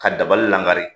Ka dabali langari